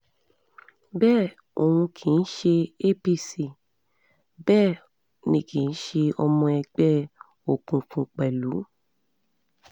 bẹ́ẹ̀ òun kì í ṣe apc bẹ́ẹ̀ um ni kì í ṣe ọmọ ẹgbẹ́ um òkùnkùn pẹ̀lú